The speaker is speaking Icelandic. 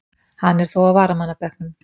Hann er þó á varamannabekknum.